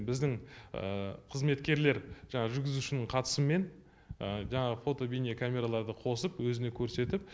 біздің қызметкерлер жаңа жүргізушінің қатысымен жаңағы фото бейне камераларды қосып өзіне көрсетіп